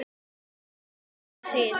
Hödd: Hvað segir þú?